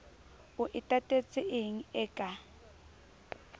o e tatetseng e ka